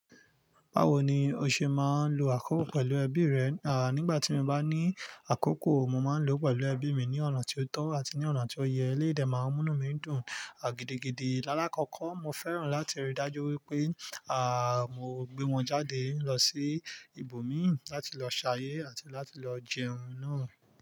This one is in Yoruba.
Bawo ni o ṣe máa ń lo àkókò pẹ̀lú ẹbí rẹ? À, nígbà tí mo bá ní àkókò, mo máa ń lò ó pẹ̀lú ẹbí mi ní ọ̀nà tí ó tọ́ àti ní ọ̀nà tí ó ye. Eléyìí dé máa ń mú inú mi dùn, à, gidigidi. Lálákọkọ, mo fẹ́ràn láti rí dájú wípé, à, mo gbé wọn jáde lọ sí ibòmíìràn láti lọ ṣayé àti láti lọ jẹun náà.